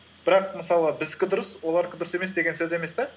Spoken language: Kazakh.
бірақ мысалы біздікі дұрыс олардікі дұрыс емес деген сөз емес та